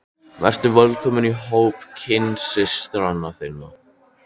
Vertu velkomin í hóp kynsystra þinna.